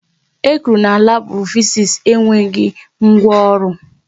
E kwuru na labu Fiziks enweghị ngwa ọrụ